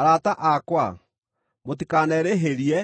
Arata akwa, mũtikanerĩhĩrie,